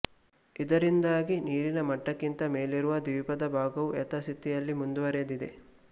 ಇದರಿಂದಾಗಿ ನೀರಿನ ಮಟ್ಟಕ್ಕಿಂತ ಮೇಲಿರುವ ದ್ವೀಪದ ಭಾಗವು ಯಥಾ ಸ್ಥಿತಿಯಲ್ಲಿ ಮುಂದುವರೆದಿದೆ